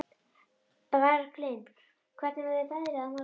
Bjarglind, hvernig verður veðrið á morgun?